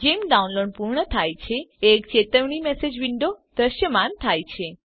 જેમ ડાઉનલોડ પૂર્ણ થાય છે એક ચેતવણી મેસેજ વિન્ડો દ્રશ્યમાન થાય છે